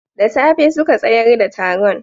Da safe suka tsayar da taron